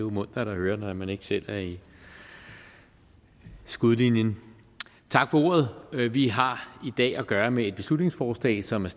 jo muntert at høre når man ikke selv er i skudlinjen tak for ordet vi har i dag at gøre med et beslutningsforslag som er